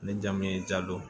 Ni jamu ye ja don